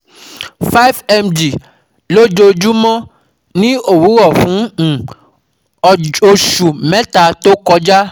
five mg lójoojúmọ́ ní òwúrọ̀ fún um oṣù mẹ́ta tó kọjá